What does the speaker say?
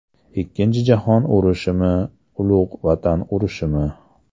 Ikkinchi jahon urushimi, Ulug‘ vatan urushimi?